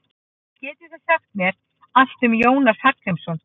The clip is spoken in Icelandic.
Getið þið sagt mér allt um Jónas Hallgrímsson?